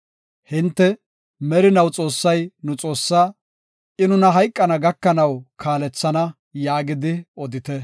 Hinte, “Merinaw Xoossay nu Xoossaa; I nuna hayqana gakanaw kaalethana” yaagidi odite.